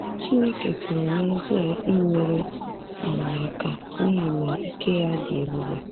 Chineke pụrụ n’ezie inyere anyị aka n’ihi na ike ya dị ebube.